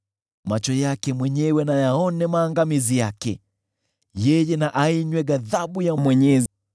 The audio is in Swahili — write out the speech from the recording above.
Macho yake mwenyewe na yaone maangamizi yake; yeye na ainywe ghadhabu ya Mwenyezi.